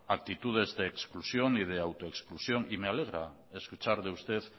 aptitudes de exclusión ni de autoexclusión y me alegra escuchar de usted